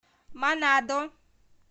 манадо